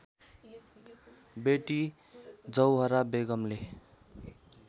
Beti Zohra बेगमले